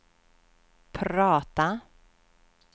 prata